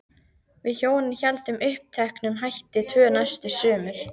Við hjónin héldum uppteknum hætti tvö næstu sumur.